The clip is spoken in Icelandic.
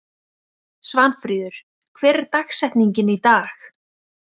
Svanfríður, hver er dagsetningin í dag?